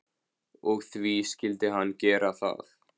Og því skyldi hann gera það.